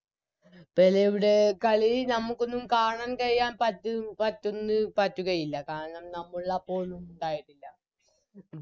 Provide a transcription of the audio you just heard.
പെലെയുടെ കളി ഞമ്മക്കൊന്നും കാണാൻ കഴിയാൻ പറ്റ് പറ്റുന്ന് പറ്റുകയില്ല കാരണം നമ്മളപ്പോൾ ഉണ്ടായിട്ടില്ല